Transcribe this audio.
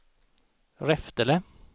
Reftele